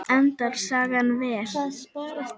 Endar sagan vel?